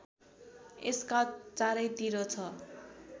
यसका चारैतिर छ